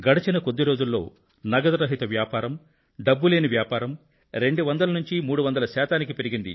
గడచిన కొద్ది రోజుల్లో నగదురహిత వ్యాపారం డబ్బు లేని వ్యాపారం 200 నుండి 300 శాతానికి పెరిగింది